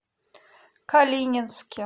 калининске